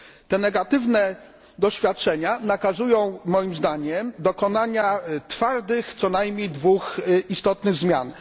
Te negatywne doświadczenia nakazują moim zdaniem dokonania twardych, co najmniej dwóch istotnych zmian.